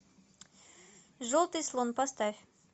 желтый слон поставь